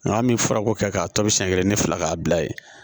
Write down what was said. Nka an bi fara ko kɛ k'a tɔ bi siɲɛ kelen ni fila k'a bila ye